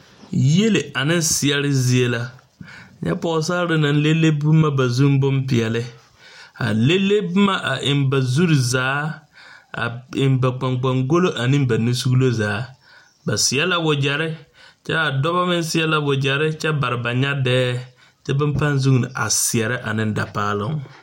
Yielle ane seɛre zie la. Nyɛ pɔgsaare naŋ leŋ leŋ boma ba zu pʋɔ bompeɛle. A leŋ leŋ boma eŋ ba zuri zaa.A eŋ ba kpankpangolɔ ane ba nusuglɔ zaa. Ba seɛ la wagɛre kyɛ a dɔbɔ meŋ seɛ la wagɛre kyɛ bare ba nyabɛɛ kyɛ ka ba vuuni a seɛrɛ ane dapaalɔŋ.